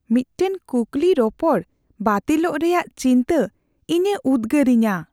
ᱢᱤᱫᱴᱟᱝ ᱠᱩᱠᱞᱤ ᱨᱚᱯᱚᱲ ᱵᱟᱹᱛᱤᱞᱚᱜ ᱨᱮᱭᱟᱜ ᱪᱤᱱᱛᱟᱹ ᱤᱧᱮ ᱩᱫᱜᱟᱹᱨᱤᱧᱟᱹ ᱾